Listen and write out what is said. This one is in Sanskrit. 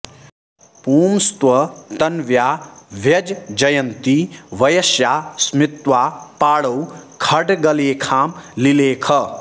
पुंस्त्वं तन्व्या व्यज्जयन्ती वयस्या स्मित्वा पाणौ खड्गलेखां लिलेख